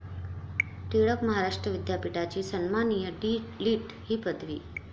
टिळक महाराष्ट्र विद्यापीठाची सन्माननीय डी.लिट. ही पदवी